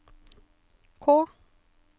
K